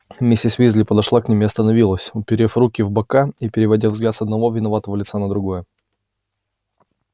миссис уизли подошла к ним и остановилась уперев руки в бока и переводя взгляд с одного виноватого лица на другое